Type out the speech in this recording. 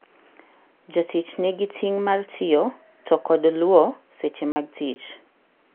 Jatich nigi ting' mar tiyo to kod lwo seche mag tich.